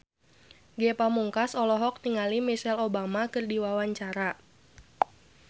Ge Pamungkas olohok ningali Michelle Obama keur diwawancara